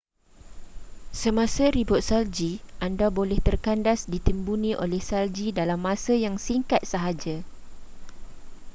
semasa ribut salji anda boleh terkandas ditimbuni oleh salji dalam masa yang singkat sahaja